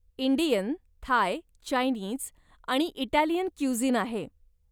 Indian, Thai, Chinese आणि Italian cuisine आहे.